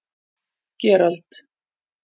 Gerald